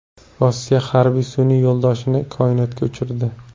Rossiya harbiy sun’iy yo‘ldoshini koinotga uchirdi.